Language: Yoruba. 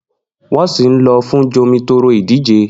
Nwọn si lọ fun Jomitoro idije